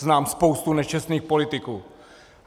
Znám spoustu nečestných politiků.